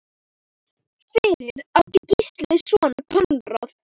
Fyrir átti Gísli soninn Konráð.